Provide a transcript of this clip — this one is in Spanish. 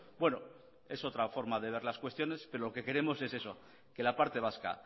bueno es otra forma de ver las cuestiones pero lo que queremos es eso que la parte vasca